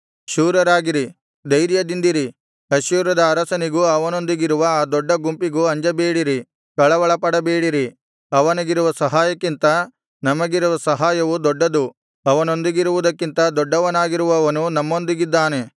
ಶೂರರಾಗಿರಿ ಧೈರ್ಯದಿಂದಿರಿ ಅಶ್ಶೂರದ ಅರಸನಿಗೂ ಅವನೊಂದಿಗಿರುವ ಆ ದೊಡ್ಡ ಗುಂಪಿಗೂ ಅಂಜಬೇಡಿರಿ ಕಳವಳಪಡಬೇಡಿರಿ ಅವನಿಗಿರುವ ಸಹಾಯಕ್ಕಿಂತ ನಮಗಿರುವ ಸಹಾಯವು ದೊಡ್ಡದ್ದು ಅವನೊಂದಿಗಿರುವದಕ್ಕಿಂತ ದೊಡ್ಡವನಾಗಿರುವವನು ನಮ್ಮೊಂದಿಗಿದ್ದಾನೆ